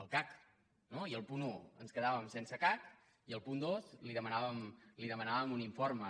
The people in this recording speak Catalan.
al cac no i al punt un ens quedàvem sense cac i al punt dos li demanàvem un informe